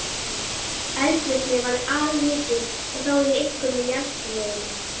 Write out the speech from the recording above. Eldvirkni var allmikil og þá einkum í jarðtroginu.